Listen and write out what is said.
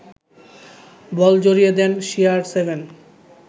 বল জড়িয়ে দেন সিআরসেভেন